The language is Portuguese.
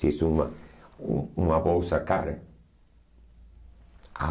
Se és uma uh uma bolsa cara.